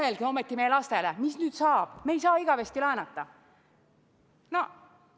Mõelge ometi meie lastele, mis nüüd saab, me ei saa igavesti laenata!